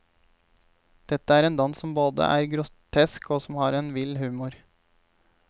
Dette er en dans som både er grotesk og som har en vill humor.